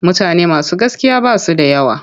Mutane masu gaskiya ba su da yawa.